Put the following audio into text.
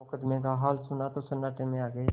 मुकदमे का हाल सुना तो सन्नाटे में आ गये